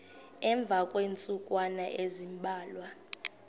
emva kweentsukwana ezimbalwa